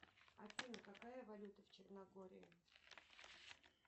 афина какая валюта в черногории